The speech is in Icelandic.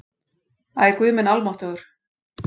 Æ, guð minn almáttugur